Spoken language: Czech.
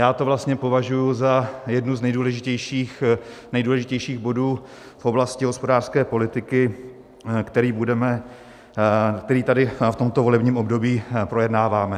Já to vlastně považuji za jeden z nejdůležitějších bodů v oblasti hospodářské politiky, který tady v tomto volebním období projednáváme.